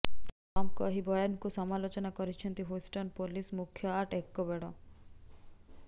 ଟ୍ରମ୍ପଙ୍କ ଏହି ବୟାନକୁ ସମାଲୋଚନା କରିଛନ୍ତି ହ୍ୟୁଷ୍ଟନ ପୋଲିସ ମୁଖ୍ୟ ଆର୍ଟ ଏକବେଡୋ